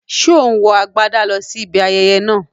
Ṣé ò ń wọ agbádà lọ sí ibi ayẹyẹ náà?